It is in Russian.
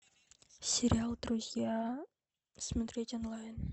сериал друзья смотреть онлайн